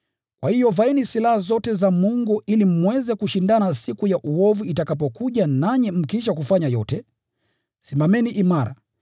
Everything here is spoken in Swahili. Kwa hiyo vaeni silaha zote za Mungu ili mweze kushindana siku ya uovu itakapokuja nanyi mkiisha kufanya yote, simameni imara.